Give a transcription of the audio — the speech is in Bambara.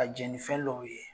Ka jɛn ni fɛn lɔw ye.